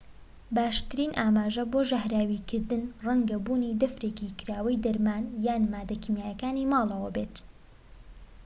باشترین ئاماژە بۆ ژەهراویکردن ڕەنگە بوونی دەفرێکی کراوەی دەرمان یان ماددە کیماییەکانی ماڵەوە بێت